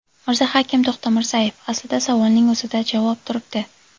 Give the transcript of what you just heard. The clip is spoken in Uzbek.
Mirzahakim To‘xtamirzayev: Aslida savolning o‘zida javob turibdi.